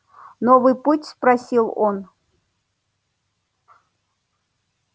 новый путь спросил он